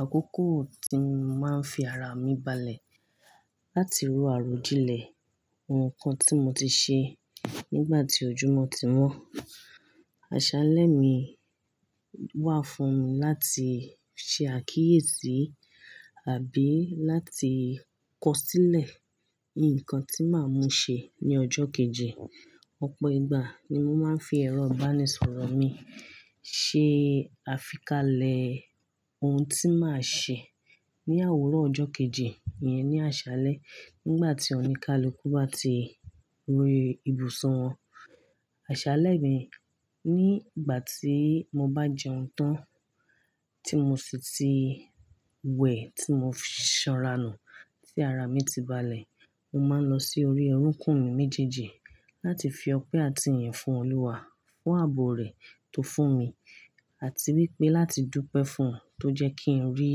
àkókò tí mo máa ń fi ara mi balẹ̀ láti ro àròjinlẹ̀ ohun kan tí mo ti ṣe nígbà tí ojúmọ́ ti wọ́n. Àṣálẹ́ mi wà fún mi láti ṣe àkíyèsí àbí láti kọsílẹ̀ nǹkan tí màá mu ṣe ní ọjọ́ kejì. Ọ̀pọ̀ ìgbà ni mo máa ń fi ẹ̀rọ ìbánisọ̀rọ̀ mi ṣe àfikalẹ̀ ohun tí màá ṣe ní òwúrò ọjọ́ kejì yẹn ní àṣálẹ́ nígbà tí oníkálukú bá ti ro ibùsun wọn. Àṣálẹ́ mi nígbà tí mo bá jẹun tán tí mo sì ti wẹ̀ tí mo sanranù tí ara mi ti balẹ̀, mo máa ń lọ sí orí orókún mi méjèèjì láti fi ọpẹ́ àti ìyìn fún Olúwa fún ààbò rẹ̀ tó fún mi àti wípé láti dúpẹ́ fún òun tó jẹ́ kí n rí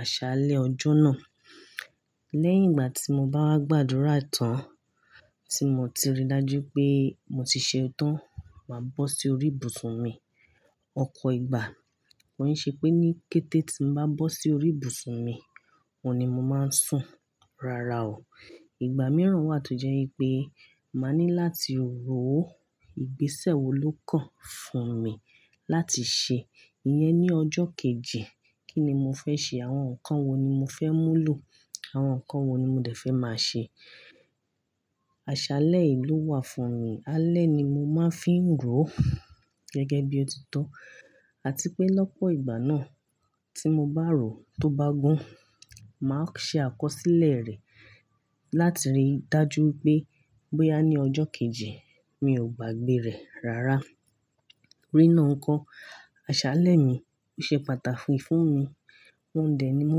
àṣálẹ́ ọjọ́ náà. Lẹ́yìn ìgbà tí mo bá wá gbàdúrà tán tí mo ti rí dájú pé mo ti ṣe tán, màá bọ́ sí orí ibùsùn mi. Ọ̀pọ̀ ìgbà kọ́ n ṣe pé ní kété tí mo bá bọ́ sí orí ibùsùn mi, òun ni mo máa ń sùn rara o. Ìgbà mìíràn wà tó jẹ́ wípé màá ní láti rò ó. Ìgbésẹ̀ wo ló kàn fún mi láti ṣe ìyẹn ní ọjọ́ kejì? Kí ni mo fẹ́ ṣe? Àwọn nǹkan wo ni mo fẹ́ mú lò? Àwọn nǹkan wo ni mo dẹ̀ fẹ́ máa ṣe? Àṣálẹ́ yìí ló wà fún mi. Alẹ́ ni mo máa ń fi ń rò gẹ́gẹ́ bí ó ti tọ́ àti pé lọ́pọ̀ ìgbà náà tí mo bá rò tó bá gún, màá ṣe àkọsílẹ̀ rẹ̀ láti rí dájú pé bóyá ní ọjọ́ kejì mi ò gbàgbé rẹ̀ rara. Rínà nko, àṣálẹ́ mi ó ṣe pàtàkì fún mi. Òun dẹ̀ ni mo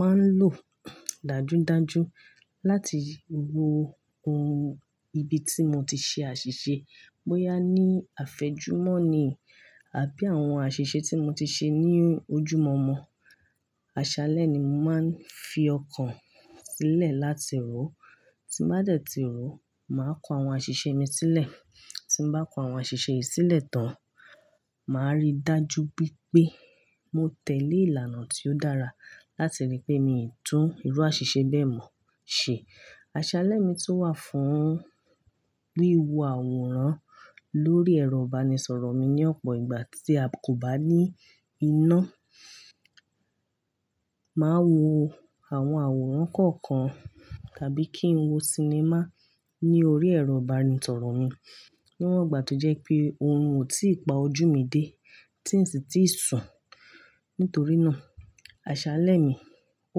máa ń lò dájú dájú láti wo ohun ibi tí mo ti ṣe àṣìṣe. Bóyá ní àfẹ́jùmọ́ni àbí àwọn àṣìṣe tí mo ti ṣe ní ojúmọ̀ọ́mọ̀. Àṣálẹ́ ni mo máa ń fi ọkàn sílẹ̀ láti rò. Tí n bá dẹ̀ ti rò, màá kọ àwọn àṣìṣe mi sílẹ̀. Tí n bá kọ àwọn àṣìṣe yìí sílẹ̀ tán, màá rí dájú wípé mo tẹ̀lé ìlànà tí ó dára láti rí pé mi tún irú àṣìṣe bẹ́ẹ̀ mọ̀ ṣe. Àṣálẹ́ mi tun wà fún wíwo àwòrán lórí ẹ̀rọ ìbánisọ̀rọ̀ mi ní ọ̀pọ̀ ìgbà tí a kò bá ní iná. Màá wo àwọn àwòrán kọ̀ọ̀kan tàbí kí n wo sinimá ní orí ẹ̀rọ ìbánisọ̀rọ̀ mi. Níwọ̀n ìgbà tó jẹ́ pé orun ò tí ì pa ojú mi dé tí n sì tí ì sun. Nítorínà àṣálẹ́ mi ó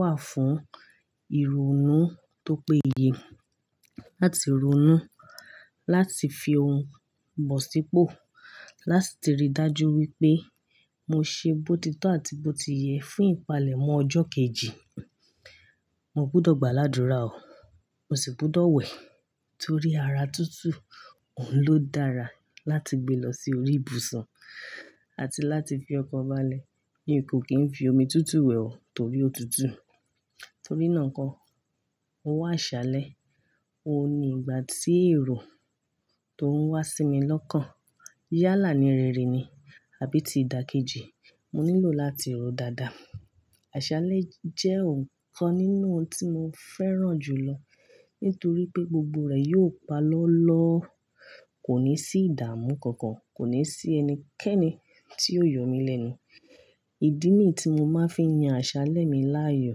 wà fún ìrónú tó péye láti ronú, láti fi ohun bọ̀ sípò, láti rí dájú wípé mo ṣe bó ti tọ́ àti bó ti yẹ fún ìpalẹ̀mọ́ ọjọ́ kejì. Mo gbudọ̀ gbàládúrà o. Mo sì gbọdọ̀ wẹ̀ torí ara tútù òun ló dára láti gbé lọ sí orí ibùsọ̀n àti láti fi ọkan balẹ̀. Mí kó kí n fi omi tútù wẹ̀ o torí ó tutù. Torínà nko, owó àṣálẹ́ òun ni ìgbà tí èrò tó ń wá sí mi lọ́kàn yálà ní rere ni àbí ti dà kejì, mo nílò láti rò dáadáa. Àṣálẹ́ jẹ́ ọ̀kan nínú ohun tí mo fẹ́ràn jù lọ nítorí pé gbogbo rẹ̀ yi o pa lọ́lọ́, kò ní sí ìdààmú kankan, kò ní sí ẹnikẹ́ni tí yi o yọ mí lẹ́nu. Ìdí nì tí mo máa ń fi yan àṣálẹ́ mi láàyò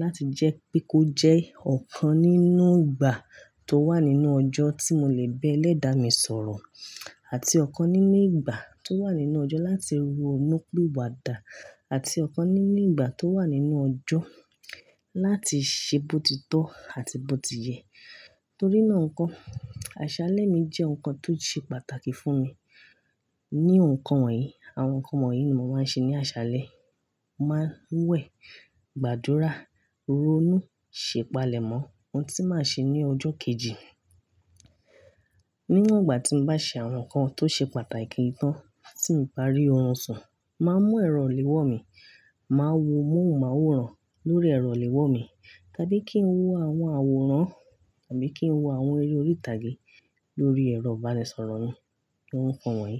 láti jẹ́ pé kó jẹ́ ọ̀kan nínú ìgbà tó wà nínú ọjọ́ tí mo lè bẹ́ lẹ́dà mi sọ̀rọ̀ àti ọ̀kan nínú ìgbà tó wà nínú ọjọ́ láti rònú pi wà dà àti ọ̀kan nínú ìgbà tó wà nínú ọjọ́ láti ṣe bó ti tọ́ àti bó ti yẹ. Nítorínà nǹkan, àṣálẹ́ mi jẹ́ nǹkan tó ṣe pàtàkì fún mi. Ní ohun kan wọ̀nyí, àwọn nǹkan wọ̀nyí ni mo máa ń ṣe ní àṣálẹ́. Mo máa ń wẹ̀, gbàdúrà, ronú, ṣe ìpalẹ̀mọ́ ohun tí màá ṣe ní ọjọ́ kejì. Níwọ̀n ìgbà tí mo bá ṣe àwọn nǹkan tó ṣe pàtàkì tán tí ń barí orun sun, màá mú ẹ̀rọ ìléwọ́ mi, màá wo mọ́hun màwòrán lórí ẹ̀rọ ìléwọ́ mi tàbí kí n wo àwọn àwòrán tàbí kí n wo àwọn eré orí ìtàgé lórí ẹ̀rọ ìbánisọ̀rọ̀ mi. Ohun kan wọ̀nyí.